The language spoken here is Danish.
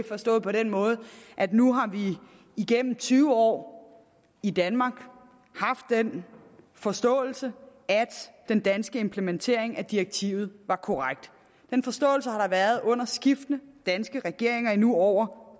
forstået på den måde at nu har vi igennem tyve år i danmark haft den forståelse at den danske implementering af direktivet var korrekt den forståelse har der været under skiftende danske regeringer i nu over